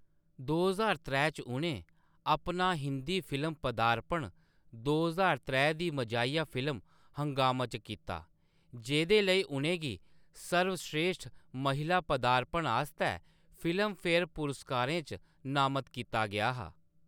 दो ज्हार त्रै च, उʼनें अपना हिंदी फ़िल्म पदार्पण दो ज्हार त्रै दी मजाहिया फ़िल्म हंगामा च कीता, जेह्‌दे लेई उʼनें गी सर्वश्रेश्ठ महिला पदार्पण आस्तै फ़िल्मफ़ेयर पुरस्कारें च नामत कीता गेआ हा।